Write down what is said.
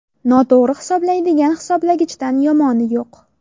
Noto‘g‘ri hisoblaydigan hisoblagichdan yomoni yo‘q.